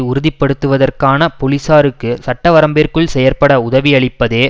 உறுதிப்படுத்துவதற்காக பொலிசாருக்கு சட்டவரம்பிற்குள் செயற்பட உதவியளிப்பதே